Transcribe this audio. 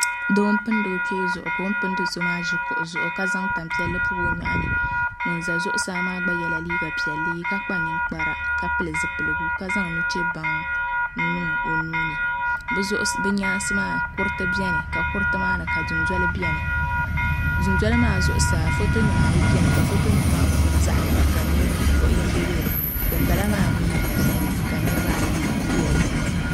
Doo n pindi o kpee ka o ni pindi so maa ʒi kuɣu zuɣu ka zaŋ tanpiɛlli pobi o nyoɣani ka ŋun pindo maa ʒɛ zuɣusaa ka kpa ninkpara ka pili zipiligu ka zaŋ nuchɛ baŋ n niŋ o nuuni bi nyaansi maa kuriti biɛni kuriti maa ni ka dundoli biɛni ka foto nim yiliya ka foto nim maa zaɣ yini puuni ka ninvuɣu yinga bɛ di puuni ka dinbala maa din mii puuni ka niraba ayi bɛ dinni